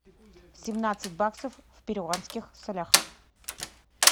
семнадцать баксов в перуанских солях